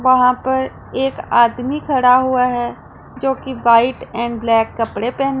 वहां पर एक आदमी खड़ा हुआ है जो कि व्हाईट एंड ब्लैक कपड़े पहन--